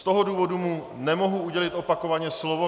Z toho důvodu mu nemohu udělit opakovaně slovo.